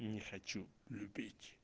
не хочу любить